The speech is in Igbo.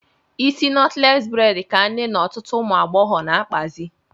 Isi nọtles bredi ka nne na ọtụtụ ụmụagbọghọ na-akpazị